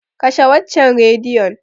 Kashe waccan Rediyon.